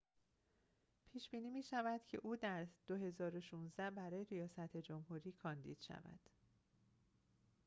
پیش‌بینی می‌شود که او در ۲۰۱۶ برای ریاست جمهوری کاندید شود